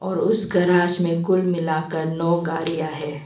और उस गेराज में कुल मिलाकर नव गाड़ियां हैं।